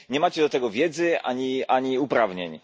Nie macie do tego wiedzy ani uprawnień.